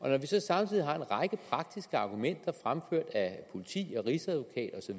så samtidig har en række praktiske argumenter fremført af politiet rigsadvokaten